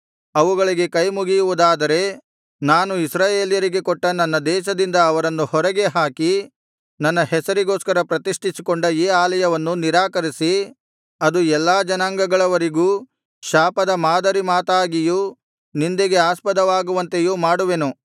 ಅವುಗಳಿಗೆ ಕೈಮುಗಿಯುವುದಾದರೆ ನಾನು ಇಸ್ರಾಯೇಲ್ಯರಿಗೆ ಕೊಟ್ಟ ನನ್ನ ದೇಶದಿಂದ ಅವರನ್ನು ಹೊರಗೆ ಹಾಕಿ ನನ್ನ ಹೆಸರಿಗೋಸ್ಕರ ಪ್ರತಿಷ್ಠಿಸಿಕೊಂಡ ಈ ಆಲಯವನ್ನು ನಿರಾಕರಿಸಿ ಅದು ಎಲ್ಲಾ ಜನಾಂಗಗಳವರಿಗೂ ಶಾಪದ ಮಾದರಿ ಮಾತಾಗಿಯೂ ನಿಂದೆಗೆ ಆಸ್ಪದವಾಗುವಂತೆಯೂ ಮಾಡುವೆನು